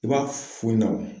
I b'a f'u yi na.